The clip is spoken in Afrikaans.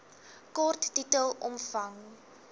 kort titel omvang